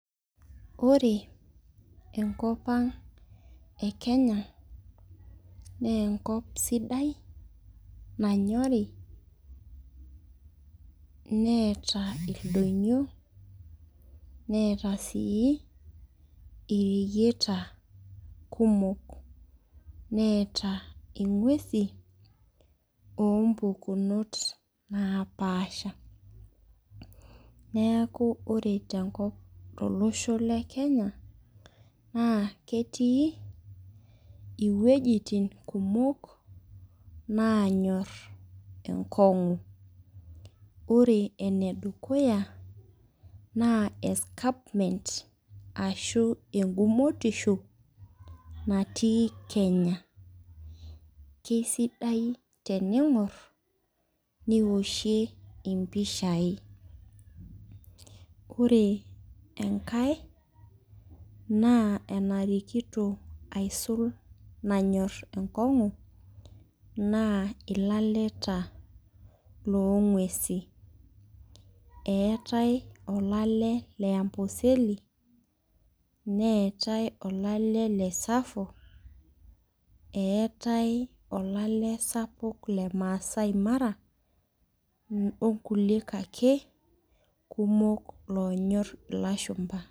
Ore enkopang e kenya na enkop sidai nanyori neeta ildonyio neeta si ireyieta kumok neeta ingwesi ompukuno napaasha neaku ore tolosho lekenya na ketii iwuejitin kumok nanyor enkongu ore enedukuya na escarpment ashu enkugutisho natii kenya kesidai teningor nioshie mpishai ore enkae na enarikito aisulbenyor enkongu na ilaleta longwesi eetae olale le amboseli neetae olale le tsavo eetae olale sapuk le masai mara obkulie ake kumok nanyor ilashumba.